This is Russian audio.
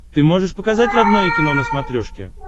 ты можешь показать родное кино на смотрешке